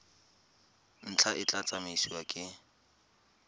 ntlha e tla tsamaisiwa ke